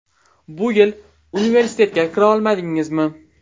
Bu yil universitetga kira olmadingizmi?